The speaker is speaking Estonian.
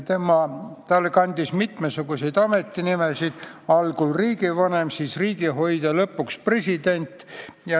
Ta kandis mitmesuguseid ametinimesid, algul oli riigivanem, siis riigihoidja ja lõpuks president.